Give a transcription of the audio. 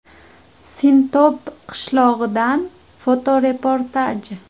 Sintob qishlog‘idan fotoreportaj.